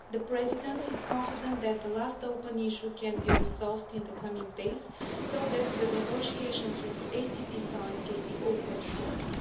The Presidency is confident that the last outstanding issue can be resolved in the coming days so that the negotiations with the ACP side can be opened shortly.